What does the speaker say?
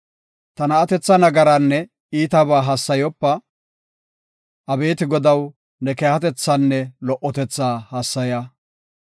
Ta na7atetha nagaraanne iitaba hassayopa; abeeti Godaw, ne keehatethaanne lo77otetha hassaya.